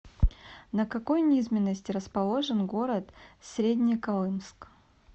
на какой низменности расположен город среднеколымск